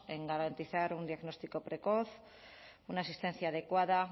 en garantizar un diagnóstico precoz una asistencia adecuada